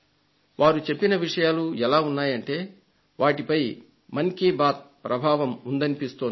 వారు చెప్పిన విషయాలు ఎలా ఉన్నాయంటే వాటిపై మన్ కీ బాత్ ప్రభావం ఉందనిపిస్తోంది